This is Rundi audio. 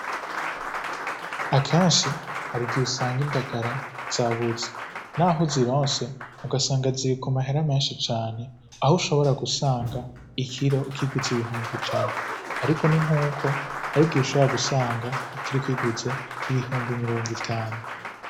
Akenshi hari igihe usanga indagara zabuze, naho uzironse ugasanga ziri ku mahera menshi cane ahushobora gusanga ikiro ukiguze ibihumbi ijana, ariko ni nkuko hari igihe ushobora gusanga ikiro ukiguze ibihumbi mirongo itanu.